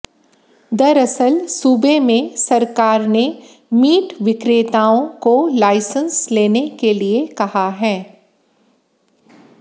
दरअसल सूबे में सरकार ने मीट विक्रेताओं को लाईसेंस लेने के लिये कहा है